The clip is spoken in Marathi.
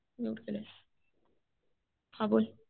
म्यूट केलंस. हा बोल.